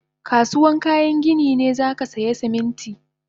Kasuwan kayan gini ne zakasaya Siminti